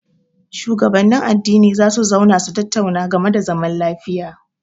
Shugabannin addini za su zauna su tattauna game da zaman lafiya.